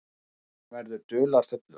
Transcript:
Hann verður dularfullur.